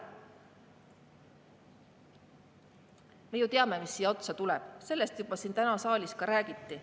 Me ju teame, mis siia otsa tuleb, sellest täna siin saalis juba räägiti.